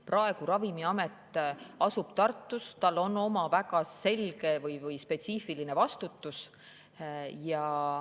Praegu asub Ravimiamet Tartus, tal on oma väga selge või spetsiifiline vastutus.